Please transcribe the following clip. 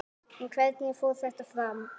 En hvernig fór þetta fram?